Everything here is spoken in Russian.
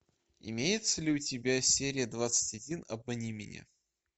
имеется ли у тебя серия двадцать один обмани меня